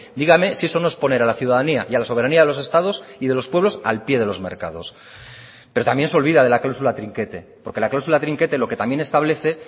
dígame si eso no es poner a la ciudadanía y a la soberanía de los estados y de los pueblos al píe de los mercados pero también se olvida de la cláusula trinquete porque la cláusula trinquete lo que también establece